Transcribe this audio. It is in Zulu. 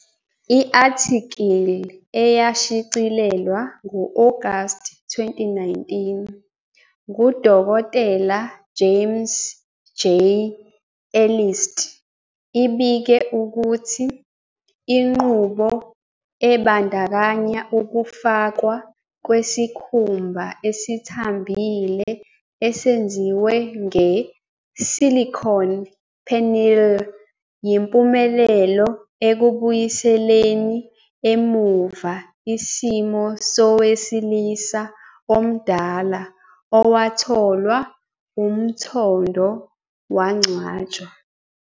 I-athikili eyashicilelwa ngo-Agasti 2019 nguDkt. J.ames J. Elist ibike ukuthi inqubo ebandakanya ukufakwa kwesikhumba esithambile esenziwe nge-silicone penile yimpumelelo ekubuyiseleni emuva isimo sowesilisa omdala owatholwa umthondo wangcwatshwa.